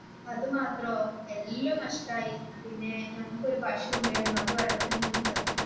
അത് മാത്രോ എല്ലാം നഷ്ടായി പിന്നെ ഞങ്ങൾക്ക് ഒരു പശു ഉണ്ടായിരുന്നു അത് വെള്ളത്തിൽ വീണു ചത്തു.